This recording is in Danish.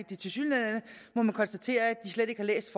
de tilsyneladende slet ikke har læst